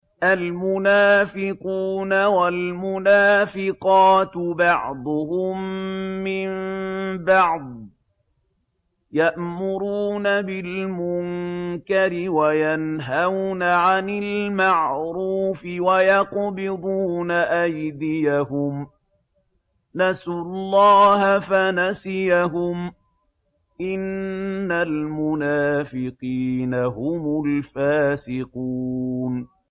الْمُنَافِقُونَ وَالْمُنَافِقَاتُ بَعْضُهُم مِّن بَعْضٍ ۚ يَأْمُرُونَ بِالْمُنكَرِ وَيَنْهَوْنَ عَنِ الْمَعْرُوفِ وَيَقْبِضُونَ أَيْدِيَهُمْ ۚ نَسُوا اللَّهَ فَنَسِيَهُمْ ۗ إِنَّ الْمُنَافِقِينَ هُمُ الْفَاسِقُونَ